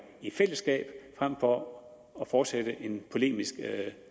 i fællesskab frem for at fortsætte en polemisk